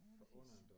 88